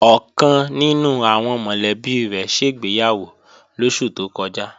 Ọ̀kan nínú àwọn mọ̀lẹ́bí rẹ̀ ṣègbéyàwó lóṣù tó kọjá